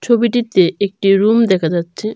ছবিটিতে একটি রুম দেখা যাচ্ছে।